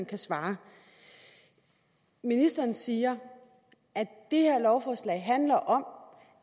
kan svare ministeren siger at det her lovforslag handler om